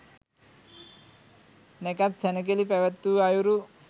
නැකැත් සැණකෙළි පැවැත්වූ අයුරු